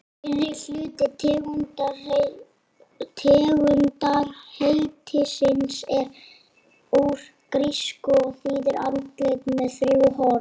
Fyrri hluti tegundarheitisins er úr grísku og þýðir andlit með þrjú horn.